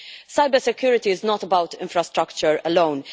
Cybersecurity is not about infrastructure alone.